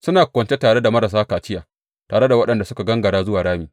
Suna kwance tare da marasa kaciya, tare da waɗanda suka gangara zuwa rami.